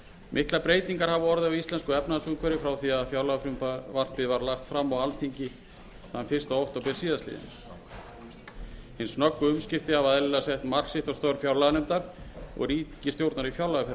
miklar breytingar hafa orðið á íslensku efnahagsumhverfi frá því að fjárlagafrumvarpið var lagt fram á alþingi þann fyrsta október síðastliðinn hin snöggu umskipti hafa eðlilega sett mark sitt á störf fjárlaganefndar og ríkisstjórnar í